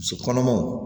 Muso kɔnɔmaw